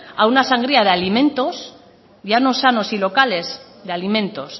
a una sangría de alimentos ya no sanos y locales de alimentos